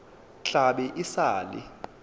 tla be e sa le